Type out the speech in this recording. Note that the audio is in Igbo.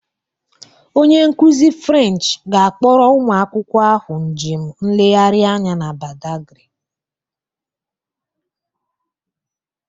Onye nkuzi French ga-akpọrọ ụmụ akwụkwọ ahụ njem nlegharị anya na Badagry